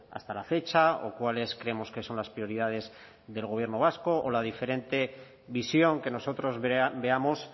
hasta la fecha o cuáles creemos que son las prioridades del gobierno vasco o la diferente visión que nosotros veamos